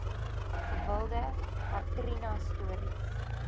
gewilde katrina stories